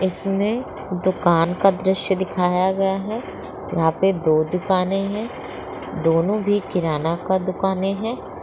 इसमें दूकान का दृश्य दिखाया गया है यहाँ पर दो दुकाने हैं दोनों भी किराना का दूकानें हैं।